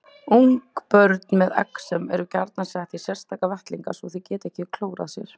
Ungbörn með exem eru gjarnan sett í sérstaka vettlinga svo þau geti ekki klórað sér.